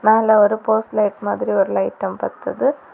மேல ஒரு post light மாதிரி ஒரு லைட்டும் பத்துது.